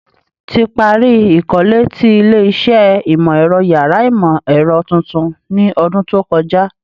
Ti pari ikole ti ile-iṣẹ Imọ-ẹrọ yàrá Imọ-ẹrọ tuntun ni ọdun to kọja